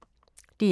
DR K